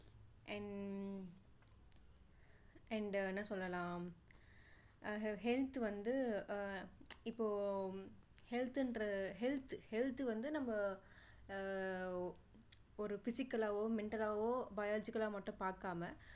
and என்ன சொல்லலாம் health வந்து அஹ் இப்போ health ன்ற health health வந்து நம்ம ஆஹ் ஒரு physical லாவோ mental லாவோ biological லா மட்டும் பார்க்காம